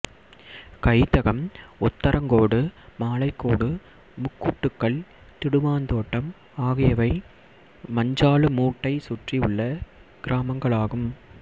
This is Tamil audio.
கைதகம் உத்தரங்கோடு மாலைக்கோடு முக்கூட்டுக்கல் திடுமாந்தோட்டம் ஆகியவை மஞ்சாலுமூட்டை சுற்றியுள்ள கிராமங்களாகும்